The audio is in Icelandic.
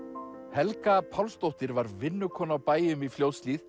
Helga Pálsdóttir var vinnukona á bæjum í Fljótshlíð